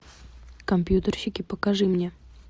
компьютерщики покажи мне